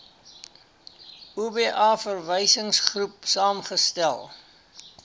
oba verwysingsgroep saamgestel